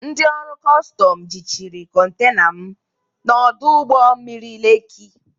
Ndị ọrụ kọstọm jịchịrị kọntena m na ọdụ ụgbọ mmiri Lekị.